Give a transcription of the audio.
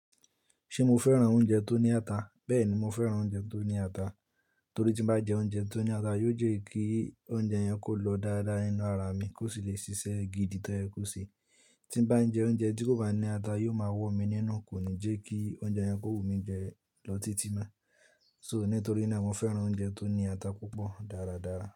Ṣe mo fẹ́ràn oúnjẹ tó ní ata? Bẹ́ẹ̀ni, mo fẹ́ràn oúnjẹ tó ní ata. Torí tí bá jẹ oúnjẹ tó ní ata, yóò jẹ́ kí oúnjẹ yẹn kó lọ dáadáa nínú ara mi, kó sì lè ṣiṣẹ́ gidi tó yẹ̀ ko se. Tí bá jẹ oúnjẹ tí kò bá ní ata, yóò máa wọ́ mi nínú, kò ní jẹ́ kí oúnjẹ yẹn kó wù mí jẹ lọ títí naá. So, nítorí náà mo fẹ́ràn oúnjẹ tó ní ata púpọ̀ dáradára.